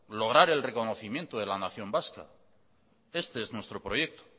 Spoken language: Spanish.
lograr el reconocimiento de la nación vasca este es nuestro proyecto